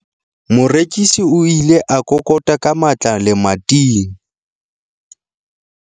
morekisi o ile a kokota ka matla lemating